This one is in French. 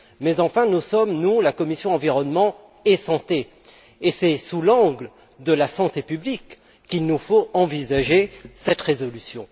Cela étant, nous sommes la commission Environnement et santé, et c'est sous l'angle de la santé publique qu'il nous faut envisager cette résolution.